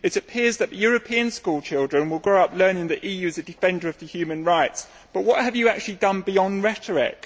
It appears that European school children will grow up learning that the EU is a defender of human rights but what have you actually done, beyond rhetoric?